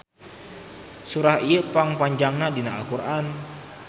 Surah ieu pang panjangna dina Al Qur'an.